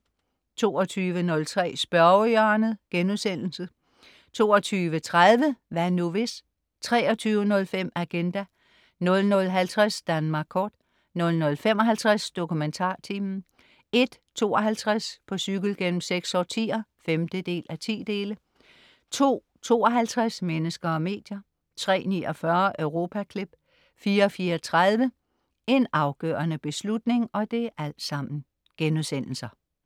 22.03 Spørgehjørnet* 22.30 Hvad nu hvis?* 23.05 Agenda* 00.50 Danmark kort* 00.55 DokumentarTimen* 01.52 På cykel gennem seks årtier 5:10* 02.52 Mennesker og medier* 03.49 Europaklip* 04.34 En afgørende beslutning*